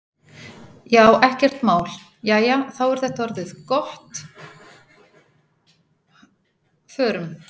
Jæja, þá er þetta orðið gott. Förum.